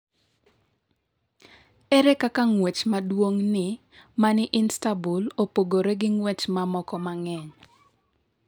Ere kaka ng’wech maduong’ni ma ni Istanbul opogore gi ng’wech mamoko ma ng’eny?